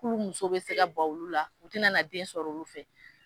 K'olu muso bɛ se ka ban olu la u tɛna na den sɔrɔ olu fɛ.